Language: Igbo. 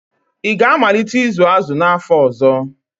Ị ga-amalite ịzụ azụ n'afọ ọzọ?